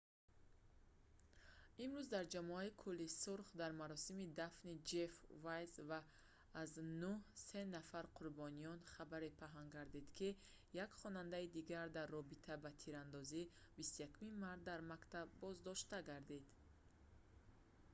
имрӯз дар ҷамоаи кӯли сурх дар маросими дафни ҷефф вайз ва аз нӯҳ се нафари қурбониён хабаре паҳн гардид ки як хонандаи дигар дар робита ба тирандозии 21 март дар мактаб боздоштаа гардид